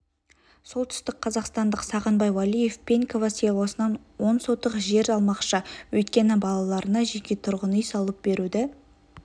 солтүстікқазақстандық сағынбай уәлиев пеньково селосынан он сотық жер алмақшы өйткені балаларына жеке тұрғын үй салып беруді